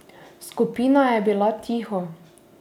Skupina je bila tiho.